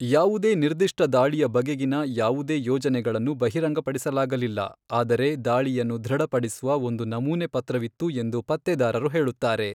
ಯಾವುದೇ ನಿರ್ದಿಷ್ಟ ದಾಳಿಯ ಬಗೆಗಿನ ಯಾವುದೇ ಯೋಜನೆಗಳನ್ನು ಬಹಿರಂಗಪಡಿಸಲಾಗಲಿಲ್ಲ, ಆದರೆ ದಾಳಿಯನ್ನು ಧೃಡಪಡಿಸುವ ಒಂದು ನಮೂನೆ ಪತ್ರವಿತ್ತು ಎಂದು ಪತ್ತೆದಾರರು ಹೇಳುತ್ತಾರೆ.